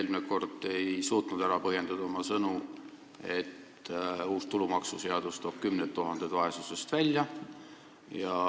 Eelmine kord ei suutnud te ära põhjendada oma sõnu, et uus tulumaksuseadus toob kümned tuhanded vaesusest välja.